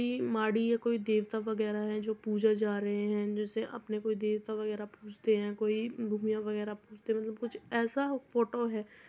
यह मादी या कोई देवता वगैरा है जो पूजा जा रहे हैं। जेसे अपने कोई देवता वगैरा पूजते है कोई वगेरा पूजते है मतलब कुछ ऐसा फोटो है।